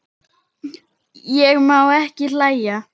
Ég má ekki hlæja.